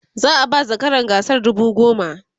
za'a ba zakaran gasar dubu goma